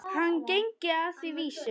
Hann gengi að því vísu.